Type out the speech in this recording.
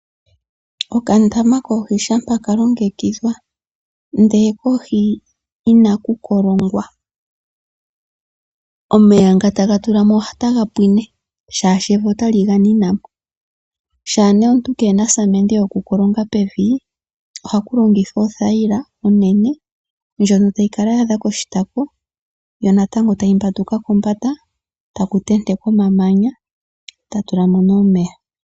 Okandama koohi shampa ka longekidhwa ndele kohi inaku kolongwa omeya nga taga tulwa mo otaga pwine, shaashi evi otali ga nina po. Shaa nee omuntu kee na osamende yokukolonga pevi ohaku longithwa othayila onene ndjono tayi kala ya adha koshitako yo natango tayi mbanduka kombanda taku tentekwa omamanya ta tula mo nee omeya.